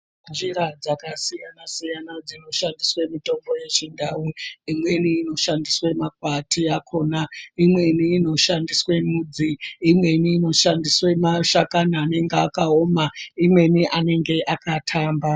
Njira dzakasiyana-siyana dzinoshandiswe mitombo yechindau. Imweni inoshandiswe makwati akhona, imweni inoshandiswe mudzi, imweni inoshandiswe mashakani anenge akaoma, imweni anenge akathamba.